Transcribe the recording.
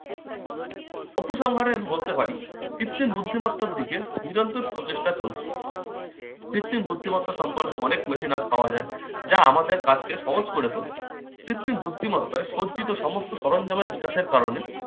উপসংহারে আমি বলতে পারি কৃত্রিম বুদ্ধিমত্তার দিকে নিরন্তর প্রচেষ্টা চলছে। কৃত্রিম বুদ্ধিমত্তার সম্পন্ন অনেক machine আজ পাওয়া যায়, যা আমাদের কাজকে সহজ করে তোলে। কৃত্রিম বুদ্ধিমত্তায় সজ্জিত সমস্ত সরঞ্জামের বিকাশের কারণে